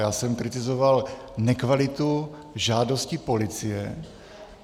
Já jsem kritizoval nekvalitu žádosti policie...